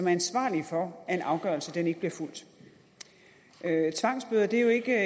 ansvarlige for at en afgørelse ikke bliver fulgt tvangsbøder er jo ikke